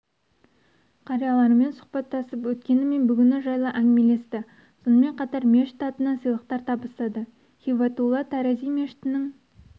қариялармен сұхбаттасып өткені мен бүгіні жайлы әңгімелесті сонымен қатар мешіт атынан сыйлықтар табыстады һибатулла тарази мешітінің